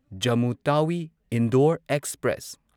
Jammu Tawi Indore express